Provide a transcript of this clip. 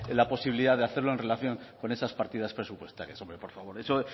la posibilidad de hacerlo en relación con esas partidas presupuestarias hombre por favor eso